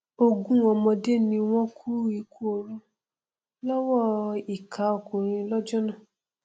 ogún ọmọdé ni wọn kú ikú oró lọwọ ìkà ọkùnrin lọjọ náà